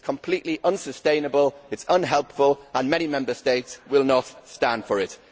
It is completely unsustainable, it is unhelpful, and many Member States will not stand for it.